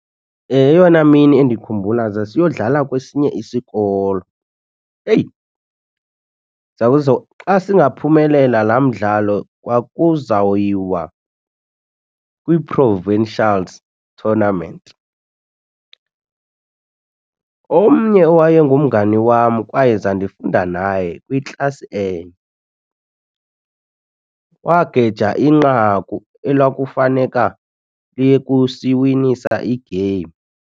Eyona mini endikhumbula zasiyodlala kwesinye isikolo. Eyi zawuzo xa singaphumelela laa mdlalo kwakuzawuyiwa kwi-provincials tournament. Omnye owayengumngani wam kwaye zandifunda naye kwiklasi enye wageyija inqaku ekwakufaneka liye kusiwinisa igeyimu.